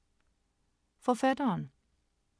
Forfatteren